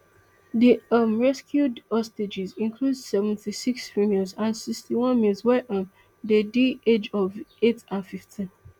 di um rescued hostages include seventy-six females and sixty-one males wey um dey di age of eight and fifteen